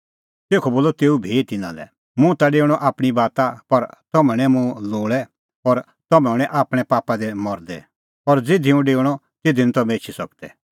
तेखअ बोलअ तेऊ भी तिन्नां लै मुंह ता डेऊणअ आपणीं बाता पर तम्हैं हणैं मुंह लोल़ै और तम्हैं हणैं आपणैं पापा दी मरदै और ज़िधी हुंह डेओआ तिधी निं तम्हैं एछी सकदै